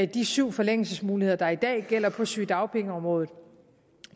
de syv forlængelsesmuligheder der i dag gælder på sygedagpengeområdet